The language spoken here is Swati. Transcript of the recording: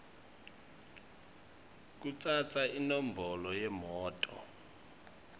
kutsatsa inombolo yemoto